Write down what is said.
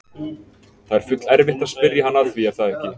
Það er full erfitt að spyrja hann að því er það ekki?